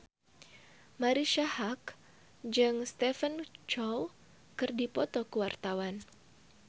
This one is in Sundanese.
Marisa Haque jeung Stephen Chow keur dipoto ku wartawan